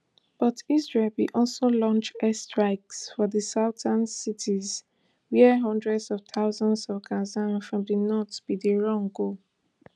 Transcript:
but israel bin also launch air strikes for di southern cities wia hundreds of thousands of gazans from di north bin dey run go